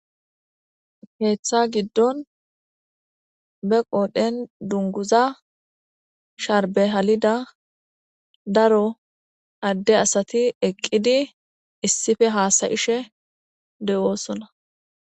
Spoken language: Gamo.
Keeththa giddon be qoodhen dunguza sharbe halida daro adde asati eqqidi issippe haasayishe de7oosona.